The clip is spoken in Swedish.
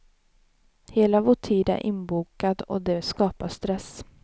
Hela vår tid är inbokad och det skapar stress.